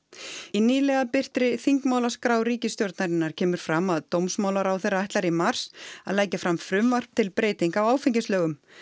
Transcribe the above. í nýlega birtri þingmálaskrá ríkisstjórnarinnar kemur fram að dómsmálaráðherra ætlar í mars að leggja fram frumvarp til breytinga á áfengislögum